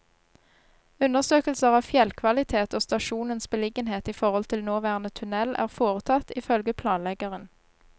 Undersøkelser av fjellkvalitet og stasjonens beliggenhet i forhold til nåværende tunnel er foretatt, ifølge planleggeren.